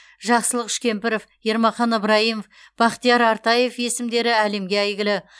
жақсылық үшкемпіров ермахан ыбрайымов бақтияр артаев есімдері әлемге әйгілі